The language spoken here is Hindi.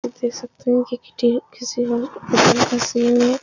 आप देख सकते हो कि किटी किसी फसी हुई है --